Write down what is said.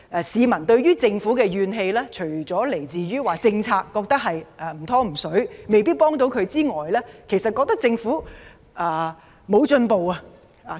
市民對政府的怨氣，除了由於覺得"唔湯唔水"的政策無法協助他們外，亦覺得政府不思進取。